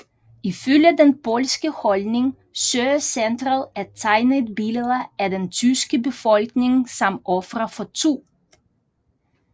Ifølge den polske holdning søger centret at tegne et billede af den tyske befolkning som ofre for 2